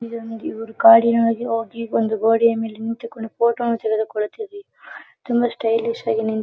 ಕಾಡಿನಾಗೆ ಹೋಗಿ ಒಂದು ಗೋಡೆಯ ಮೇಲೆ ನಿಂತುಕೊಂಡು ಫೋಟೋವನ್ನು ತೆಗೆದುಕೊಳ್ಳುತ್ತೀವಿ ತುಂಬಾ ಸ್ಟೈಲಿಶ್ ಆಗಿ ನಿಂತು --